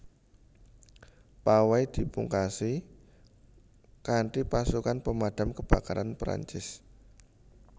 Pawai dipungkasi kanthipasukan Pemadam Kebakaran Perancis